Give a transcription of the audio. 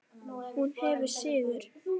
Hún hafði sigur.